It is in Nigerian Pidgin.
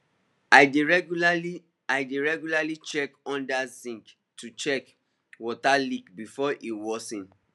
i dey regularly i dey regularly check under sink to catch water leak before e worsen